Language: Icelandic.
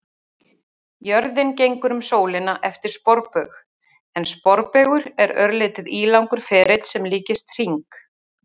Jörðin gengur um sólina eftir sporbaug en sporbaugur er örlítið ílangur ferill sem líkist hring.